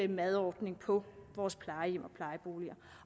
madordningen på vores plejehjem og plejeboliger